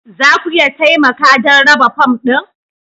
Za ku iya taimaka don raba fom ɗin